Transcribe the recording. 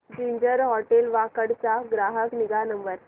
ginger hotel Wakad चा ग्राहक निगा नंबर